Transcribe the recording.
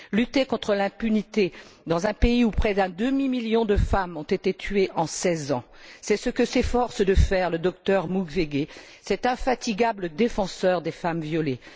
Lutter contre l'impunité dans un pays où près d'un demi million de femmes ont été tuées en seize ans, c'est ce que s'efforce de faire le docteur Mukwege, cet infatigable défenseur des femmes violées.